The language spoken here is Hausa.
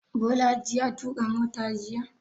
Bolaji ya tuƙa mota jiya?